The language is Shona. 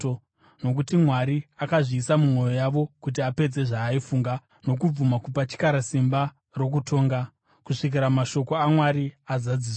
Nokuti Mwari akazviisa mumwoyo yavo kuti apedze zvaaifunga nokubvuma kupa chikara simba rokutonga, kusvikira mashoko aMwari azadziswa.